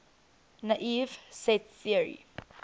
naive set theory